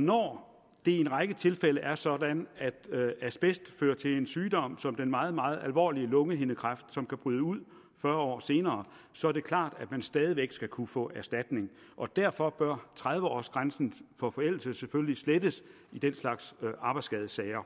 når det i en række tilfælde er sådan at asbest fører til en sygdom som den meget meget alvorlige lungehindekræft som kan bryde ud fyrre år senere så er det klart at man stadig væk skal kunne få erstatning og derfor bør tredive års grænsen for forældelse selvfølgelig slettes i den slags arbejdsskadesager